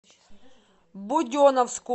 буденновску